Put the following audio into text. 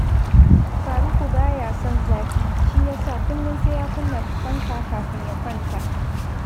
Faruku ba ya son zafi, shi ya sa kullum sai ya kunna fanka kafin ya kwanta